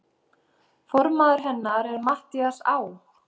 Formaður hennar er Matthías Á.